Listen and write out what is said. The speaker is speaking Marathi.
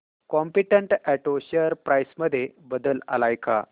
कॉम्पीटंट ऑटो शेअर प्राइस मध्ये बदल आलाय का